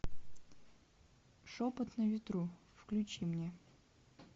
шепот на ветру включи мне